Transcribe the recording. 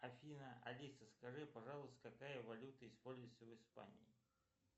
афина алиса скажи пожалуйста какая валюта используется в испании